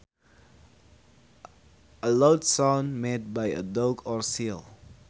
A loud sound made by a dog or seal